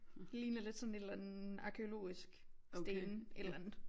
Ligner lidt sådan et eller andet arkæologisk sten et eller andet